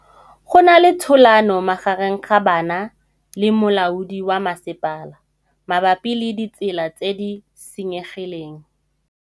Go na le thulanô magareng ga banna le molaodi wa masepala mabapi le ditsela tse di senyegileng.